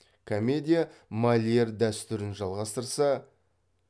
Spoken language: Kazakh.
комедия мольер дәстүрін жалғастырса